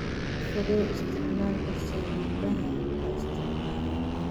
Ka fogow isticmaalka saliidaha la isticmaalo.